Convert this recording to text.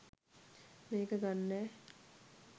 මේක ගන්නෑ